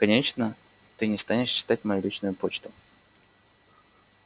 конечно ты не станешь читать мою личную почту